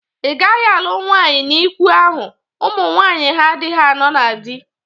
Ị gaghị alụ nwaanyị n'ikwu ahụ. Ụmụ nwaanyị ha adịghị anọ na dị!